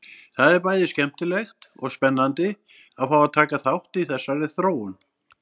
Það er bæði skemmtilegt og spennandi að fá að taka þátt í þessari þróun!